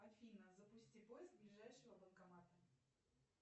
афина запусти поиск ближайшего банкомата